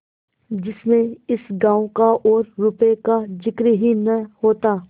जिसमें इस गॉँव का और रुपये का जिक्र ही न होता